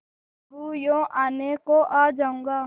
अलगूयों आने को आ जाऊँगा